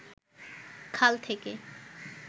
খাল থেকে